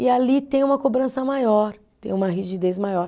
E ali tem uma cobrança maior, tem uma rigidez maior.